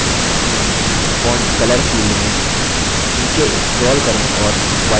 font color field में नीचे scroll करें और white चुनें